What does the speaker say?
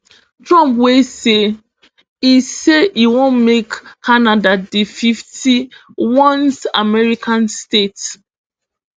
trump wey say e say e wan make canada di fifty-onest american state